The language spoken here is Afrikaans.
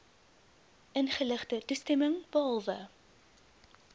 ingeligte toestemming behalwe